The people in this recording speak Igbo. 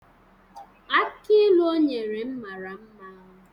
Akị ilu o nyere m mara mma